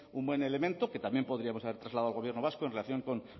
un buen elemento que también podríamos haber trasladado al gobierno vasco en relación con